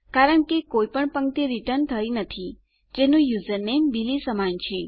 કારણ કે કોઈ પણ પંક્તિ રીટર્ન નથી થઈ જેનું યુઝરનેમ બિલી સમાન છે